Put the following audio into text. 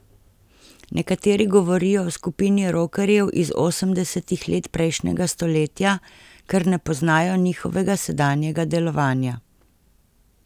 Nekateri govorijo o skupini rokerjev iz osemdesetih let prejšnjega stoletja, ker ne poznajo njihovega sedanjega delovanja.